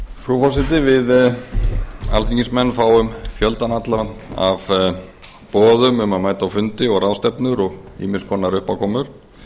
frú forseti við alþingismenn fáum fjöldann allan af boðum um að mæta á fundi og ráðstefnur og ýmiss konar uppákomur